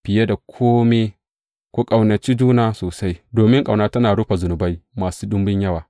Fiye da kome, ku ƙaunaci juna sosai, domin ƙauna tana rufe zunubai masu ɗumbun yawa.